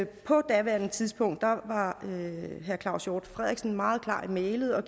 på daværende tidspunkt var var herre claus hjort frederiksen meget klar i mælet og